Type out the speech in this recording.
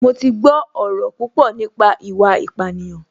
Mo ti gbọ́ ọ̀rọ̀ púpọ̀ nípa ìwà ìpánìyàn